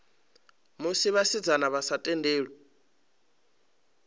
musi vhasidzana vha sa tendelwi